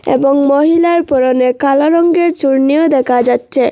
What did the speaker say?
এবং মহিলার পরনে কালো রঙ্গের চুর্নিও দেখা যাচচে।